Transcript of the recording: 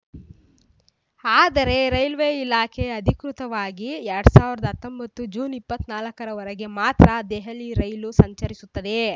ಆದರೆ ರೈಲ್ವೆ ಇಲಾಖೆ ಅಧಿಕೃತವಾಗಿ ಎರಡ್ ಸಾವಿರದ ಹತ್ತೊಂಬತ್ತು ಜೂನ್ ಇಪ್ಪತ್ತ್ ನಾಲ್ಕರವರೆಗೆ ಮಾತ್ರ ದೆಹಲಿ ರೈಲು ಸಂಚರಿಸುತ್ತದೆ